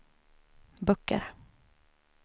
böcker